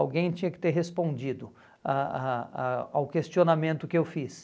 Alguém tinha que ter respondido a a a ao questionamento que eu fiz.